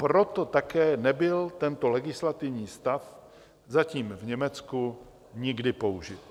Proto také nebyl tento legislativní stav zatím v Německu nikdy použit.